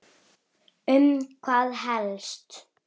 Um hvað helst?